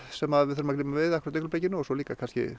sem við þurfum að glíma við akkúrat í augnablikinu og svo líka kannski